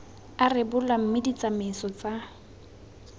a rebolwa mme ditsamaiso tsa